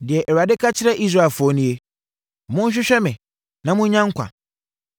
Deɛ Awurade ka kyerɛ Israelfoɔ nie: “Monhwehwɛ me na monnya nkwa;